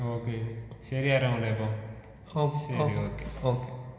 Okay ശരി ആരോമലേ അപ്പൊ. ശരി ഓക്കെ